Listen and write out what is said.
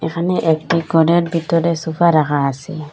এখানে এক ঘরের ভিতরে সোফা রাখা আসে।